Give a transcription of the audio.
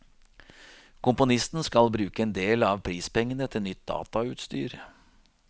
Komponisten skal bruke endel av prispengene til nytt datautstyr.